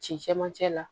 Cɛncɛ man ca la